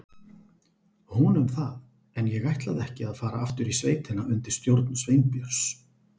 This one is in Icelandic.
Hún um það, en ég ætlaði ekki að fara aftur í sveitina undir stjórn Sveinbjörns.